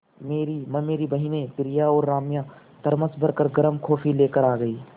मेरी ममेरी बहिनें प्रिया और राम्या थरमस भर गर्म कॉफ़ी लेकर आ गईं